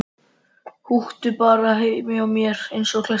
Húkti bara hjá mér eins og klessa.